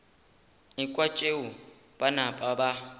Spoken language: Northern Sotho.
ekwa tšeo ba napa ba